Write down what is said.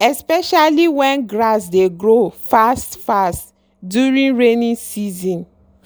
especially when grass dey grow fast-fast during rainy season.